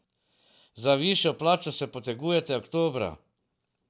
Za višjo plačo se potegujte oktobra.